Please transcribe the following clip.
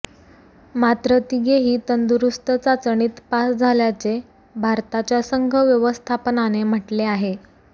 मात्र तिघेही तंदुरुस्त चाचणीत पास झाल्याचे भारताच्या संघ व्यवस्थापनाने म्हटले आहे